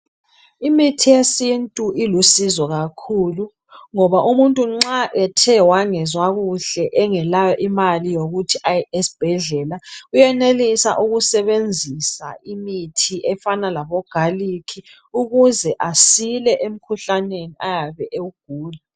Imithi yesintu ilusizo kakhulu ngoba umuntu nxa ethe wangezwa kuhle engelayo mali yokuthi aye esibhedlela uyenelisa ukusebenzisa imithi efana labo garlic ukuze asile emkhuhlaneni oyabe ewugula